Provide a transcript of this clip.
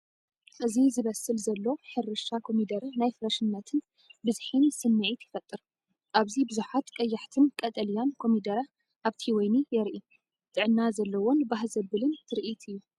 እዚ ዝበስል ዘሎ ሕርሻ ኮሚደረ ናይ ፍረሽነትን ብዝሒን ስምዒት ይፈጥር! ኣብዚ ብዙሓት ቀያሕትን ቀጠልያን ኮሚደረ ኣብቲ ወይኒ የርኢ። ጥዕና ዘለዎን ባህ ዘብልን ትርኢት እዩ!